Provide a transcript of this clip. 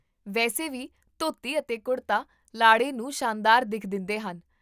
ਵੈਸੇ ਵੀ, ਧੋਤੀ ਅਤੇ ਕੁੜਤਾ ਲਾੜੇ ਨੂੰ ਸ਼ਾਨਦਾਰ ਦਿੱਖ ਦਿੰਦੇਹਨ